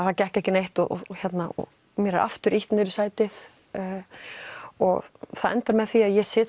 það gekk ekki neitt og mér er aftur ýtt í sætið og það endar með því að ég sit